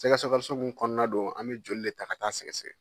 Sɛgɛ mun kɔnɔna do an mɛ joli le ta ka taa sɛgɛsɛgɛ.